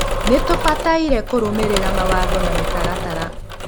Nitubataire kurumirira mawatho na mitaratara.